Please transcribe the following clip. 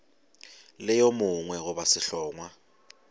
le yo mongwe goba sehlongwa